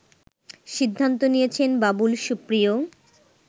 সিদ্ধান্ত নিয়েছেন বাবুল সুপ্রিয়